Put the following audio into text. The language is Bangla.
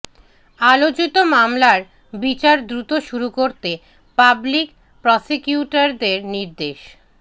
আলোচিত মামলার বিচার দ্রুত শুরু করতে পাবলিক প্রসিকিউটরদের নির্দেশ